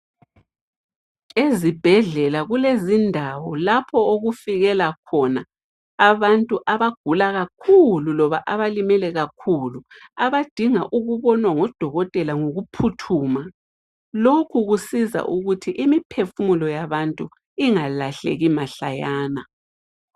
Ezibhedlela kulezindawo lapha okufikela khona abantu abagula kakhulu loba abalimele kakhulu abadinga ukubonwa ngudokotela ngokuphuthuma lokhu kusiza ukuthi imiphefumulo yabantu ingalahleki mahlayana